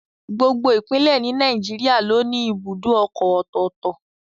Gbogbo Ìpínlẹ̀ ni Nàìjíríà ló ní ibùdó ọkọ̀ ọ̀tọ̀ọ̀tọ̀